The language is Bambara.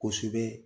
Kosɛbɛ